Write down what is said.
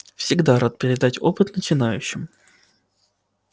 всегда рад передать опыт начинающим